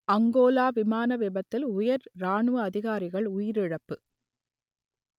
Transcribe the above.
Angola விமான விபத்தில் உயர் இராணுவ அதிகாரிகள் உயிரிழப்பு